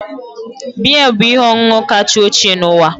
Biya bụ ihe ọṅụṅụ kacha ochie n'ụwa